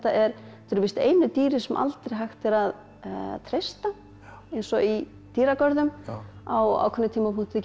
eru víst einu dýrin sem aldrei hægt er að treysta eins og í dýragörðum á ákveðnum tímapunkti getur